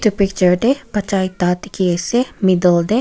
picture tae bacha ekta dikhiase middle tae.